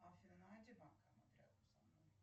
афина найди банкомат рядом со мной